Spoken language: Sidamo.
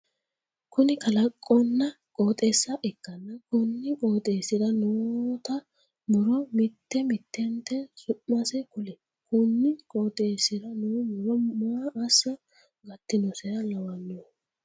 Kunni kaloqonna qooxeessa ikanna konni qooxeesira noota muro mite mitente su'mase kuli? Kunni qooxeesira noo muro maa assa gatinoseha lawanohe?